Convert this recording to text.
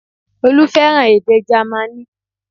Olú fẹ́ràn èdè Jámánì